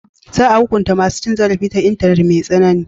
Za a hukunta masu cin zarafi ta intanet mai tsanani.